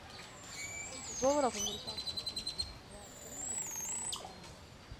сколько долларов американских тридцать два тенге на сегодняшний день